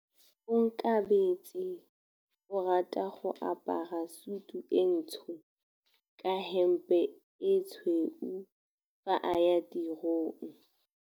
Onkabetse o rata go apara sutu e ntsho ka hempe e tshweu fa a ya tirong.